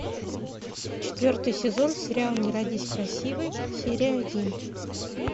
четвертый сезон сериал не родись красивой серия один